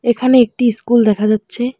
এখানে একটি ইস্কুল দেখা যাচ্ছে।